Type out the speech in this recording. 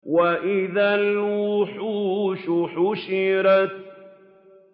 وَإِذَا الْوُحُوشُ حُشِرَتْ